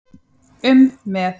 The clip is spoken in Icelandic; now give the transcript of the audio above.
um með.